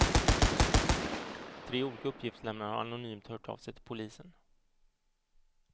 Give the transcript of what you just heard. Tre olika uppgiftslämnare har anonymt hört av sig till polisen.